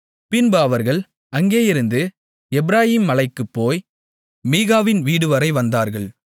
பின்பு அவர்கள் அங்கேயிருந்து எப்பிராயீம் மலைக்குப் போய் மீகாவின் வீடுவரை வந்தார்கள்